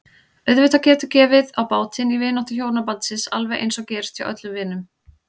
Auðvitað getur gefið á bátinn í vináttu hjónabandsins alveg eins og gerist hjá öllum vinum.